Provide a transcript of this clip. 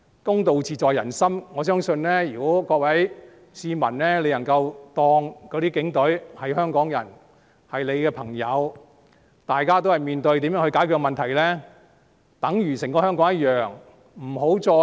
公道自在人心，我相信如果各位市民能夠把警隊當作香港人和朋友，大家也在面對如何解決問題，便等於一個香港般。